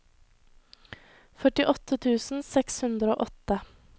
førtiåtte tusen seks hundre og åtte